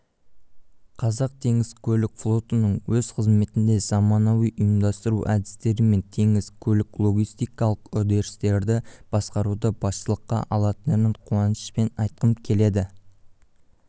қазақтеңізкөлікфлотының өз қызметінде заманауи ұйымдастыру әдістері мен теңіз көлік-логистикалық үдерістерді басқаруды басшылыққа алатынын қуанышпен айтқым келеді